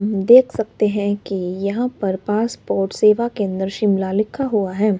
देख सकते हैं कि यहां पर पासपोर्ट सेवा केंद्र शिमला लिखा हुआ है।